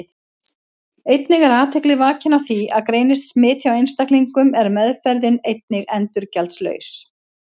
Einnig er athygli vakin á því að greinist smit hjá einstaklingum er meðferðin einnig endurgjaldslaus.